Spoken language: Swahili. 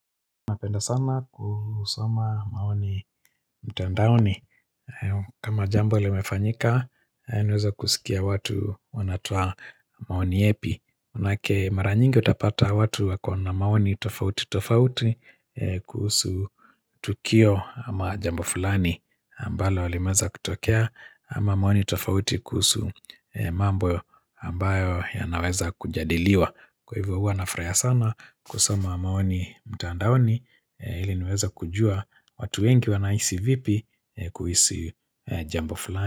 Napenda sana kusoma maoni mtandaoni kama jambo limefanyika, naweza kusikia watu wanatoa maoni yepi maanake mara nyingi utapata watu wako na maoni tofauti tofauti kuhusu tukio ama jambo fulani ambalo limeweza kutokea ama maoni tofauti kuhusu mambo ambayo yanaweza kujadiliwa Kwa hivo huwa nafurahia sana kusoma maoni mtandaoni ili niweze kujua watu wengi wanahisi vipi kuhisi jambo fulani.